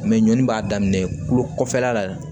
Mɛ ɲɔn b'a daminɛ kulo kɔfɛla la